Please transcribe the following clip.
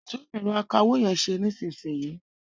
Tún ẹ̀rọ akawó yẹn ṣe nísìnyìí.